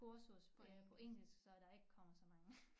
Kursus på engelsk så der ikke kommer så mange